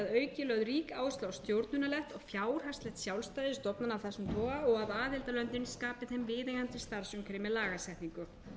lögð rík áhersla á stjórnunarlegt og fjárhagslegt sjálfstæði stofnana af þessum toga og að aðildarlöndin skapi þeim viðeigandi starfsumhverfi með lagasetningu